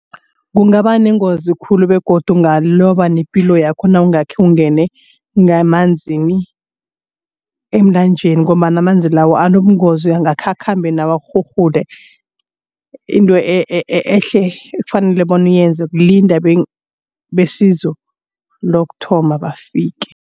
Kungaba nengozi khulu begodu ungaloba nepilo yakho nawungakhe ungene ngemanzini emlanjeni ngombana amanzi lawo anobungozi ngakhe akhambe nawo akurhurhule. Into ehle ekufanele bona uyenze kulinda besizo lokuthoma bafike.